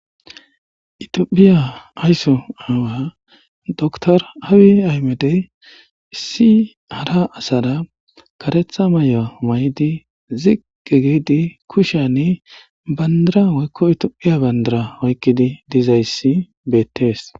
Ettophiyya aysso awa dr Abi Ahiedey issi harra assara karretha mayuwa mayiddi ziqqi giddi kushiyanni bandirra woykko ettophiyya bandirra oyqqiddi dizzayssi bettees.